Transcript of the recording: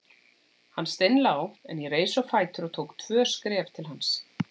Hann steinlá en ég reis á fætur og tók tvö skref til hans.